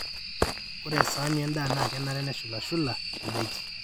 ore esaani endaa na kenare neshulushula indaiki